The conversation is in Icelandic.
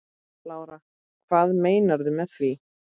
Lára: Hvað meinarðu með því?